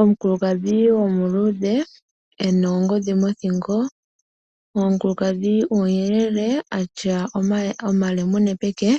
Omukulukadhi omuluudhe ena oongodhi mothingo. Omukulukadhi omuyelele atya omalemune peke